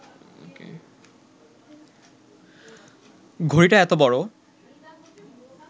ঘড়িটা এত বড়